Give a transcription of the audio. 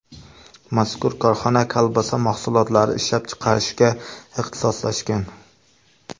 Mazkur korxona kolbasa mahsulotlari ishlab chiqarishga ixtisoslashgan.